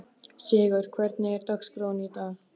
Sigarr, hvernig er dagskráin í dag?